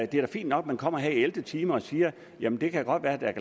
det er da fint nok at man kommer her i ellevte time og siger jamen det kan godt være det